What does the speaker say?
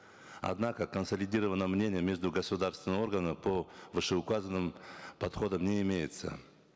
однако консолидированного мнения между государственным органом по вышеуказанным подходам не имеется